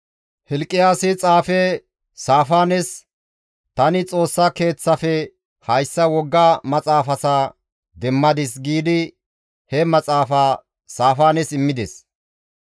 Hilqiyaasi xaafe Saafaanes, «Tani Xoossa Keeththafe hayssa woga maxaafaza demmadis» giidi he maxaafa Saafaanes immides.